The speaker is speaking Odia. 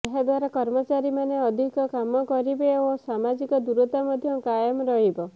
ଏହାଦ୍ୱାରା କର୍ମଚାରୀମାନେ ଅଧିକ କାମ କରିବେ ଓ ସାମାଜିକ ଦୂରତା ମଧ୍ୟ କାଏମ ରହିବ